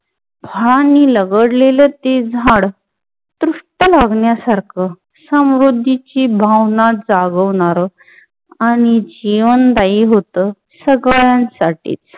भाननि लगडलेल ते झाड तुष्ट लागण्यासर्क समृद्धीची भावनां जागवणार आणि जीवनदायी हुत सगळ्या साटी